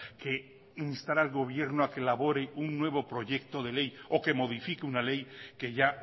que instar al gobierno a que elabore un nuevo proyecto de ley o que modifique una ley que ya